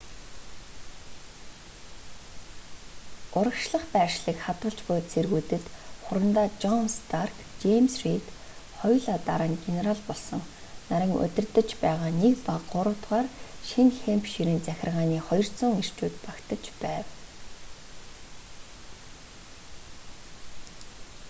урагшлах байршлыг хадгалж буй цэргүүдэд хурандаа жон старк жэймс рийд хоёулаа дараа нь генерал болсон нарын удирдаж байгаа 1 ба 3-р шинэ хэмпширийн захиргааны 200 эрчүүд багтаж байв